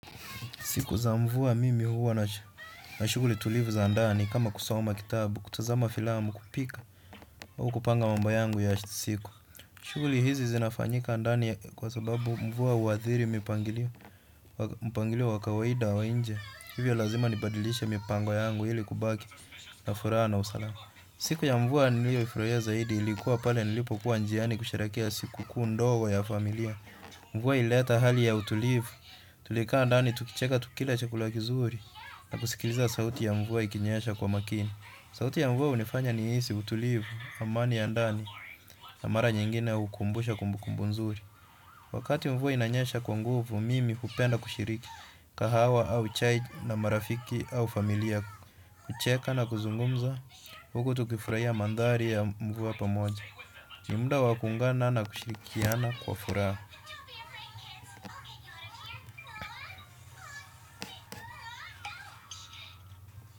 Siku za mvua mimi huwa na shughuli tulivu za ndani kama kusoma kitabu, kutazama filamu, kupika, au kupanga mambo yangu ya ashtisiku. Shughuli hizi zinafanyika ndani kwa sababu mvua huathiri mipangilio, mpangilio wa kawaida wa nje. Hivyo lazima nibadilishe mipango yangu ili kubaki na furaha na usalama. Siku ya mvua niliyofurahia zaidi ilikuwa pale nilipokuwa njiani kusherehekea siku kuu ndogo ya familia. Mvua ilileta hali ya utulivu. Tulikaa ndani tukicheka tukila chakula kizuri na kusikiliza sauti ya mvua ikinyesha kwa makini. Sauti ya mvua unifanya nihisi utulivu amani ya ndani na mara nyingine ukumbusho kumbukumbu nzuri. Wakati mvua inanyesha kwa nguvu. Mimi hupenda kushiriki kahawa au chai na marafiki au familia kucheka na kuzungumza huku tukifurahia mandhari ya mvua pamoja. Ni muda wa kuungana na kushirikiana kwa furaha.